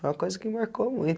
Foi uma coisa que marcou